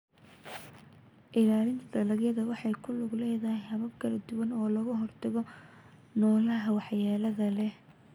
Ilaalinta dalagga waxay ku lug leedahay habab kala duwan oo looga hortago noolaha waxyeelada leh.